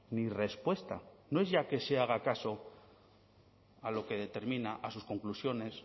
ni respuesta no es ya que se haga caso a lo que determina a sus conclusiones